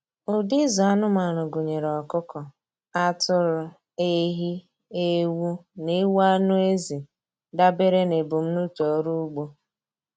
Ụdị ịzụ anụmanụ gụnyere ọkụkọ, atụrụ, ehi, ewu, na ewu anụ ezi, dabere na ebumnuche ọrụ ugbo.